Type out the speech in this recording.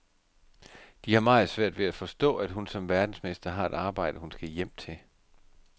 De har meget svært ved at forstå, at hun som verdensmester har et arbejde, hun skal hjem til.